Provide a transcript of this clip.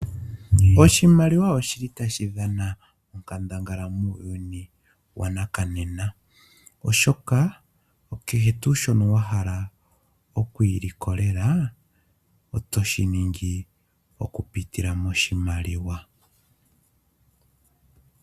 Oshimaliwa oshili tashi dhana onkandangala muuyuni wonena oshoka kehe tuu shono wahala oku ilikolela otoshiningi okupitila moshimaliwa